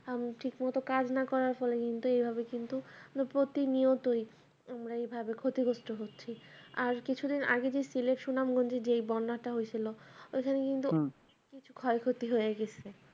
উম ঠিক মত কাজ না করার ফলে এইভাবে কিন্তু মানে প্রতি নিয়তই আমরা এইভাবে ক্ষতিগ্রস্ত হচ্ছি আর কিছুদিন আগে যে সিলেট সুনামগঞ্জে যে বন্যাটা হয়েছিল ওইখানে কিন্তু অনেক ক্ষয়ক্ষতি হয়ে গেছে